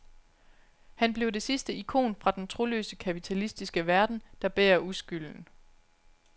Han blev det sidste ikon fra den troløse kapitalistiske verden, der bærer uskylden.